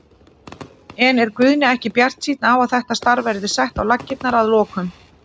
En er Guðni ekki bjartsýnn á að þetta starf verði sett á laggirnar að lokum?